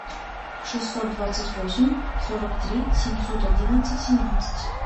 шестьсот двадцать восемь сорок три семьсот одиннадцать семнадцать